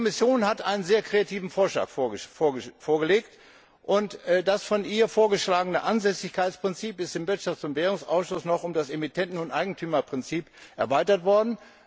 Die Kommission hat einen sehr kreativen Vorschlag vorgelegt, und das von ihr vorgeschlagene Ansässigkeitsprinzip ist im Ausschuss für Wirtschaft und Währung noch um das Emittenten und Eigentümerprinzip erweitert worden.